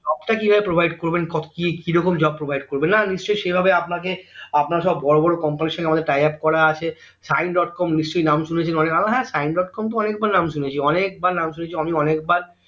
job টা কি ভাবে provide করবেন এত কি কিরকম job provide করবেন না নিশ্চই সে ভাবে আপনাকে আপনার সব বড়ো বড়ো company এর সঙ্গে আমাদের tayaf করা আছে সাইন ডট কম নিশ্চই নাম শুনেছেন অনেক হ্যাঁ সাইন ডট কম তো অনেক বার নাম শুনেছি অনেকবার নাম শুনেছি আমি অনেকবার